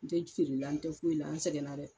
N tɛ feere la, n tɛ foyi la an sɛgɛna dɛ.